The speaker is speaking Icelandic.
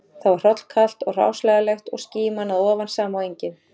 Þar var hrollkalt og hráslagalegt og skíman að ofan sama og engin